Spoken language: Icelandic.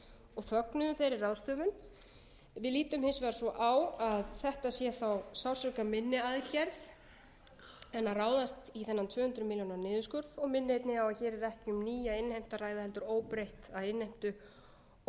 og fögnuðu þeirri ráðstöfun við lítum hins vegar svo á að þetta sé þá sársaukaminni aðgerð en að ráðast í þennan tvö hundruð milljóna niðurskurð og minni einnig á að hér er ekki um nýja innheimtu að ræða heldur óbreytta innheimtu og